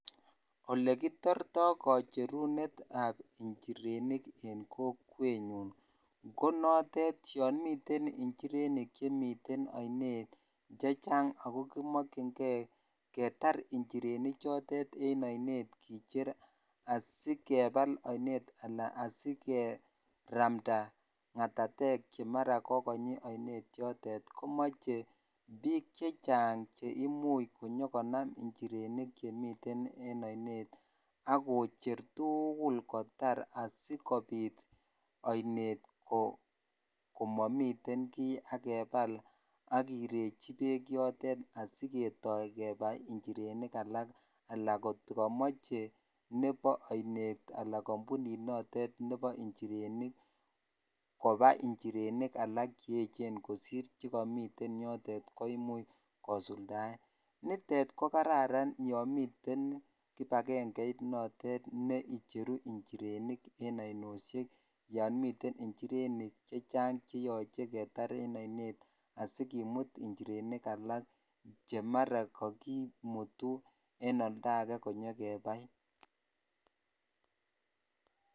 Olekitirto kocherunetab njirenik en kokwenyun ko notet yoon miten njirenik chemiten oinet chechang ak ko kimokying'e ketar njireni chotet en oinet kicher asikebal oinet alaa asikeramnda ng'atatek chemara kokonyi oinet yotet komoche biik chechang cheimuch konyo konam njirenik chemiten en oinet ak koche tukul kotar asikobit oinet komomiten kii ak kebal ak kirechi beek yotet asiketoi kebai njrenik alak alaa kotikomoche nebo oinet alaa kombunit notet nebo njirenik kobai njirenik alak che echen kosir njirenik chekomiten yotet koimuch kosuldaen, nitet ko kararan yomiten kibakeng'eit notet ne icheru njirenik en oinosiek yoon miten njirenik chechang cheyoche ketar en oinet asikimut njirenik alak chemara kokimutu en oldake konyo kebai.